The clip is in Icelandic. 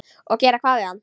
Og gera hvað við hann?